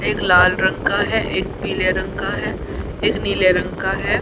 एक लाल रंग का है एक पीले रंग का है एक नीले रंग का है।